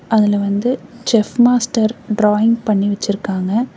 அதுல வந்து chef master drawing பண்ணி வெச்சிருக்காங்க.